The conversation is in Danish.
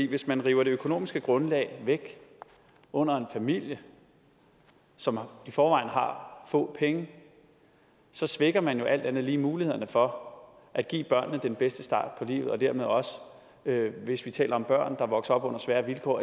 hvis man river det økonomiske grundlag væk under en familie som i forvejen har få penge svækker man jo alt andet lige mulighederne for at give børnene den bedste start på livet og dermed også hvis vi taler om børn der vokser op under svære vilkår